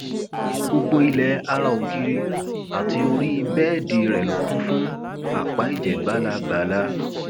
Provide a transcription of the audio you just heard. gbogbo ilẹ ará ògiri àti orí bẹẹdì rẹ ló kún fún apá ẹjẹ bàlàbàlà